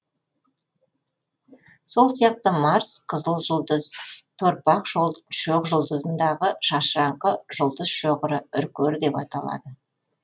сол сияқты марс қызыл жұлдыз торпақ шоқжұлдызындагы шашыраңқы жұлдыз шоғыры үркер деп аталады